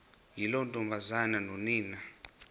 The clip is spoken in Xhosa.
yiloo ntombazana nonina